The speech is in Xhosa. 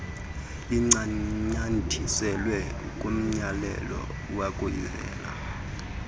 lincanyathiselwe kumyalelo wokuvela